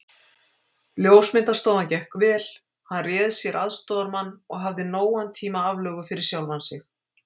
Ljósmyndastofan gekk vel, hann réð sér aðstoðarmann og hafði nógan tíma aflögu fyrir sjálfan sig.